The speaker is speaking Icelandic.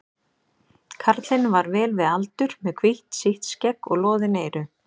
Karlinn var vel við aldur, með hvítt sítt skegg og loðin eyru.